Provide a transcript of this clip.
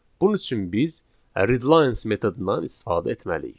Bunun üçün biz readlines metodundan istifadə etməliyik.